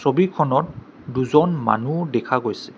ছবিখনত দুজন মানুহ দেখা গৈছে।